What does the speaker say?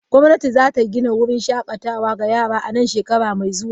Gwamnati za ta gina wurin shakatawa ga yara a nan shekara mai zuwa.